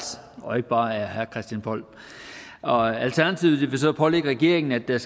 og ikke bare af herre christian poll alternativet vil pålægge regeringen at der